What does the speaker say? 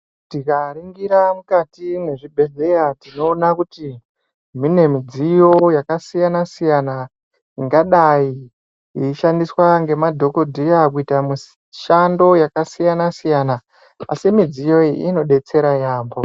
Tikaringira mukati mezvibhehlera tinona kuti munemudziyo yakasiyana siyana ingadai yoshandiswa ngemadhokotera kuita mushando yakasiyana siyana asi mudziyo iyi inobetsera yambo